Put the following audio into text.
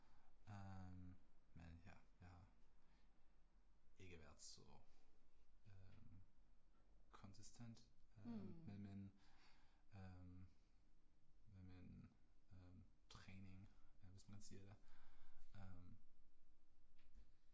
Øh men ja jeg. Ikke været så øh konsistent med min øh med min øh træning hvis man siger det øh